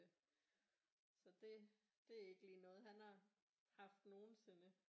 Så det det er ikke lige noget han har haft nogensinde